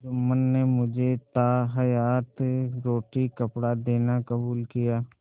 जुम्मन ने मुझे ताहयात रोटीकपड़ा देना कबूल किया